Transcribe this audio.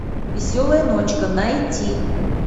веселая ночка найти